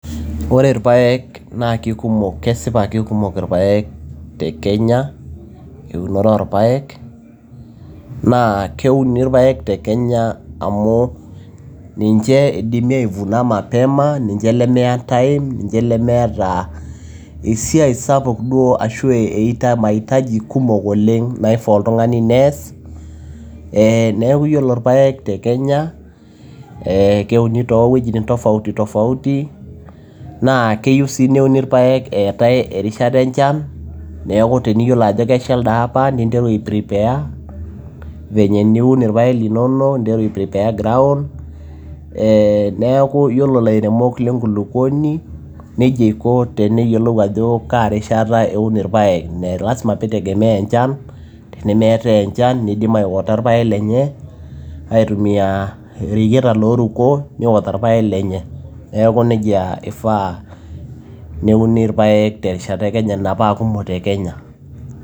Ore ilpaek naa kesipa keikumok ilpaek tekenya eunore oolpaek, naa keuni ilpaek tekenya amu ninche eidimi aivuna mapema, naa ninche nemeya time nemeeata esiai sapuk, ashu mahitaji kumok oleng naifaa oltung'ani neas, neaku ore ilpaek te Kenya, keuni too wejitin tofauti tofauti naa keyieu sii naa keuni ilpaek terishata enchan. Neaku teniyiolo ajo kesha elde apa ninteru aiprepare venye niun ilpaek linonok ninteru aiprepare ground neaku iyiolo ilairemok le nkolokuoni neija iko teneyiolou ajo kaarishata eun ilpaek lazima pee eitegemea enchan tenemeetae enchan neidim aiwater ilpaek lenye aitumia ireyieta loo ruko neiwater ilpaek lenye. Neaku neija eifaa neuni ilpaek te , ina paa kumok te Kenya.